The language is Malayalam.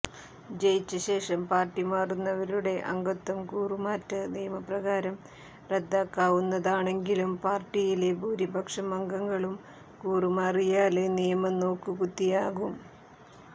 ജയിച്ചശേഷം പാര്ട്ടി മാറുന്നവരുടെ അംഗത്വം കൂറുമാറ്റ നിയമപ്രകാരം റദ്ദാക്കാവുന്നതാണെങ്കിലും പാര്ട്ടിയിലെ ഭൂരിപക്ഷം അംഗങ്ങളും കൂറുമാറിയാല് നിയമം നോക്കുകുത്തിയാകും